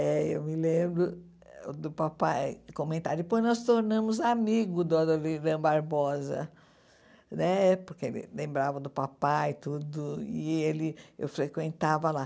Eh eu me lembro do papai comentar, depois nós tornamos amigos, do Adoniran Barbosa né, porque ele lembrava do papai e tudo, e ele eu frequentava lá.